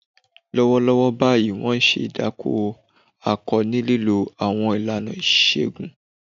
Lọ́wọ́lọ́wọ́ báyìí, wọ́n ń ṣe ìdákó akọ ní lílo àwọn ìlànà ìṣègùn.